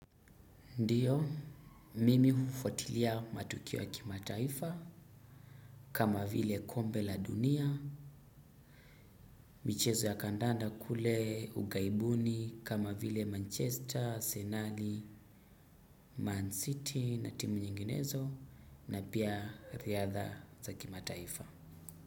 Ndiyo, mimi hufutilia matukio ya kimataifa kama vile kombe la dunia, michezo ya kandanda kule ughaibuni kama vile Manchester, Senali, Man City na timu nyinginezo na pia riadha za kima taifa.